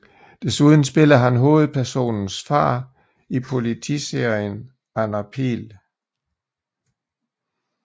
Desuden spiller han hovedpersonens far i politiserien Anna Pihl